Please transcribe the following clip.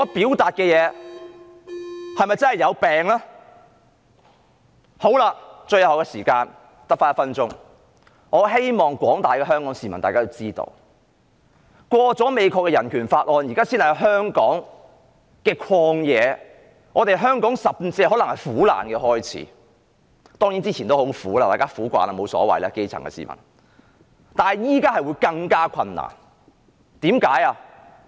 最後，我餘下只有1分鐘發言時間，我希望廣大的香港市民知道，美國通過《香港人權與民主法案》，現在才是香港的"曠野"，對香港來說甚至可能是苦難的開始，當然在此之前也很苦，可能基層市民已經習慣，也沒所謂了，但現在會更加困難，為甚麼？